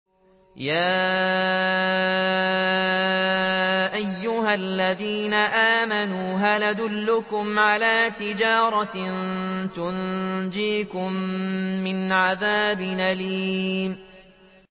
يَا أَيُّهَا الَّذِينَ آمَنُوا هَلْ أَدُلُّكُمْ عَلَىٰ تِجَارَةٍ تُنجِيكُم مِّنْ عَذَابٍ أَلِيمٍ